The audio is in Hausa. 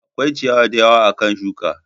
Akwai ciyawa da yawa akan shuka.